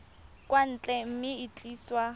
kwa ntle mme e tliswa